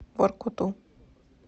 воркуту